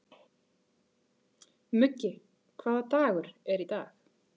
Muggi, hvaða dagur er í dag?